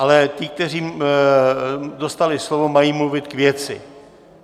Ale ti, kteří dostali slovo, mají mluvit k věci.